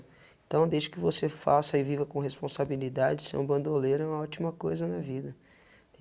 Então, desde que você faça e viva com responsabilidade ser um bandoleiro é uma ótima coisa na vida.